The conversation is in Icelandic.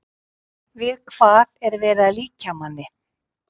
Við hvað er verið að líkja manni?